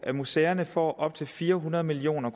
at museerne får op til fire hundrede million